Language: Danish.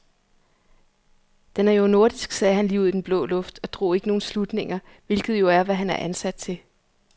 Den er jo nordisk sagde han lige ud i den blå luft og drog ikke nogle slutninger, hvilket jo er, hvad han er ansat til.